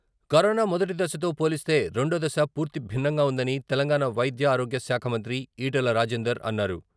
Corona మొదటి దశతో పోలిస్తే రెండో దశ పూర్తి భిన్నంగా ఉందని తెలంగాణ వైద్యారోగ్యశాఖ మంత్రి ఈటెల రాజేందర్ అన్నారు.